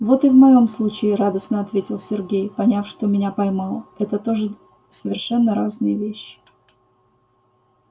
вот и в моём случае радостно ответил сергей поняв что меня поймал это тоже совершенно разные вещи